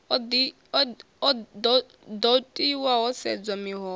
do tiwa ho sedzwa miholo